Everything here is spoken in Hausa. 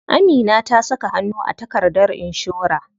Amina ta saka hannu a takardar inshora.